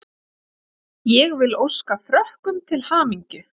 Ég vil óska Frökkum til hamingju.